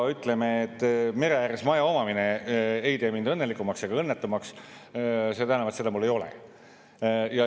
Ütleme, et mere ääres maja omamine ei tee mind õnnelikumaks ega õnnetumaks, seda enam, et seda mul ei ole.